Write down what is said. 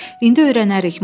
İndi öyrənərik.